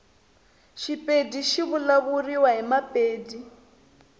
shipedi shivulavuliwa himapedi